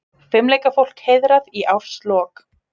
Fimleikafólk heiðrað í árslok